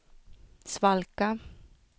svalka